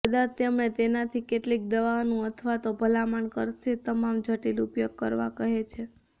કદાચ તેમણે તેમની કેટલીક દવાઓનું અથવા તો ભલામણ કરશે તમામ જટિલ ઉપયોગ કરવા કહે છે